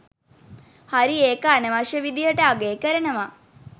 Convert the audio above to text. හරි ඒක අනවශ්‍ය විදිහට අගේ කරනවා.